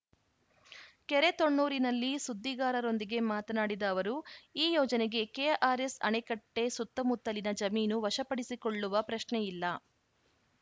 ಕೆರೆ ತೊಣ್ಣೂರಿನಲ್ಲಿ ಸುದ್ದಿಗಾರರೊಂದಿಗೆ ಮಾತನಾಡಿದ ಅವರು ಈ ಯೋಜನೆಗೆ ಕೆಆರ್‌ಎಸ್‌ ಅಣೆಕಟ್ಟೆಸುತ್ತಮುತ್ತಲಿನ ಜಮೀನು ವಶಪಡಿಸಿಕೊಳ್ಳುವ ಪ್ರಶ್ನೆಯಿಲ್ಲ